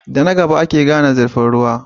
Da na gaba ake gane zurfin ruwa.